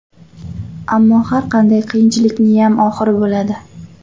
Ammo har qanday qiyinchilikniyam oxiri bo‘ladi.